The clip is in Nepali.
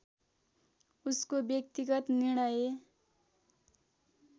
उसको व्यक्तिगत निर्णय